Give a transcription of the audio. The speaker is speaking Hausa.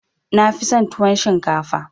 Na fi son tuwon shinkafa